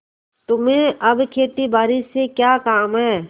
तुम्हें अब खेतीबारी से क्या काम है